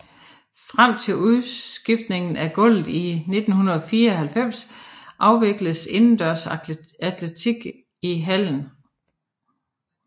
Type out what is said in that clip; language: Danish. Frem til udskiftningen af gulvet i 1994 afvikledes indendørs atletik i hallen